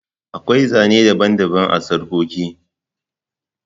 Akwai Zane daban-daban na sarƙoƙi.